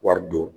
Wari don